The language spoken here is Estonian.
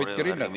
Hoidke rinnet.